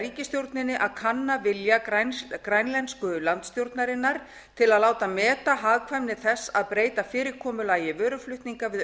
ríkisstjórninni að kanna vilja grænlensku landsstjórnarinnar til að láta meta hagkvæmni þess að breyta fyrirkomulagi vöruflutninga við